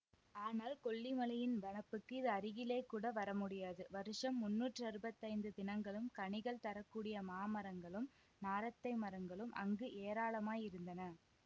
ஆனால் கொல்லிமலையின் வனப்புக்கு இது அருகிலேகூட வரமுடியாது வருஷம் முந்நூற்றறுபத்தைந்து தினங்களும் கனிகள் தர கூடிய மாமரங்களும் நாரத்தை மரங்களும் அங்கு ஏராளமாயிருந்தன